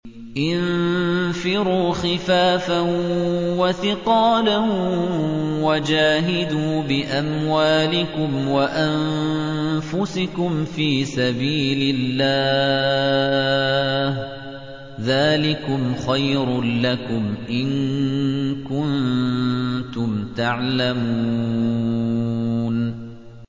انفِرُوا خِفَافًا وَثِقَالًا وَجَاهِدُوا بِأَمْوَالِكُمْ وَأَنفُسِكُمْ فِي سَبِيلِ اللَّهِ ۚ ذَٰلِكُمْ خَيْرٌ لَّكُمْ إِن كُنتُمْ تَعْلَمُونَ